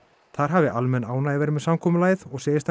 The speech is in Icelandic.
þar hafi almenn ánægja verið með samkomulagið og segist hann